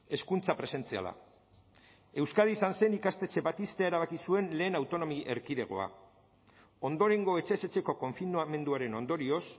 hezkuntza presentziala euskadi izan zen ikastetxe bat ixtea erabaki zuen lehen autonomia erkidegoa ondorengo etxez etxeko konfinamenduaren ondorioz